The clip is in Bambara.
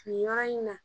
Nin yɔrɔ in na